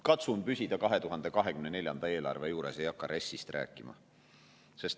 Katsun püsida 2024. aasta eelarve juures, ei hakka RES-ist rääkima.